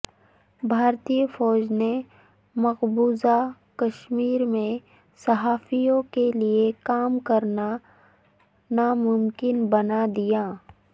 بھارتی فوج نے مقبوضہ کشمیرمیں صحافیوں کےلئے کام کرنا ناممکن بنا دیا